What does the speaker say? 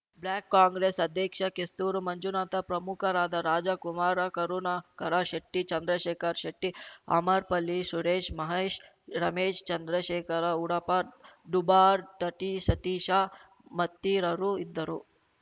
block Congress ಅಧ್ಯಕ್ಷ ಕೆಸ್ತೂರು ಮಂಜುನಾಥ ಪ್ರಮುಖರಾದ ರಾಜಾಕುಮಾರಾ ಕರುಣಾಕರ ಶೆಟ್ಟಿ ಚಂದ್ರಶೇಖರ್ ಶೆಟ್ಟಿ ಅಮರ್ ಪಲ್ಲಿ ಸುರೇಶ್ ಮಹೇಶ್ ರಮೇಶ್ ಚಂದ್ರಶೇಖರ ಉಡುಪ ಡುಬಾರ್ ತಟೀಸತೀಶ ಮತ್ತಿರರು ಇದ್ದರು